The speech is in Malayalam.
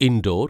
ഇൻഡോർ